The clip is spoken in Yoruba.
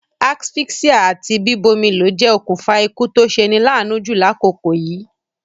Asphyxia àti bíbómilo je okùnfa ikú to seni laanu ju lákòkò yìí